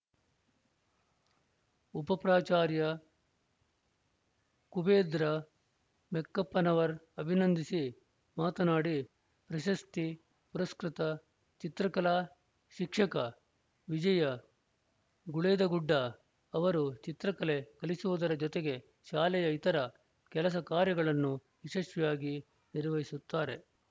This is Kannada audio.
ಉಪ ಪ್ರಾಚಾರ್ಯ ಕುಬೇಂದ್ರ ಮೆಕ್ಕಪ್ಪನವರ್‌ ಅಭಿನಂದಿಸಿ ಮಾತನಾಡಿ ಪ್ರಶಸ್ತಿ ಪುರಸ್ಕೃತ ಚಿತ್ರಕಲಾ ಶಿಕ್ಷಕ ವಿಜಯ ಗುಳೇದಗುಡ್ಡ ಅವರು ಚಿತ್ರಕಲೆ ಕಲಿಸುವುದರ ಜೊತೆಗೆ ಶಾಲೆಯ ಇತರ ಕೆಲಸ ಕಾರ್ಯಗಳನ್ನು ಯಶಸ್ವಿಯಾಗಿ ನಿರ್ವಹಿಸುತ್ತಾರೆ